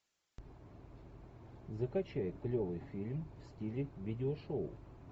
закачай клевый фильм в стиле видеошоу